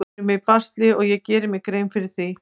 Við erum í basli og ég geri mér grein fyrir því.